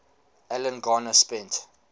alan garner spent